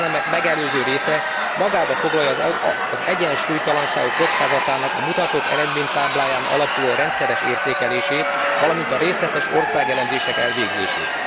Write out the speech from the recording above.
Ezen elemek megelőző része magában foglalja az egyensúlytalanságok kockázatának a mutatók eredménytábláján alapuló rendszeres értékelését, valamint a részletes országelemzések elvégzését.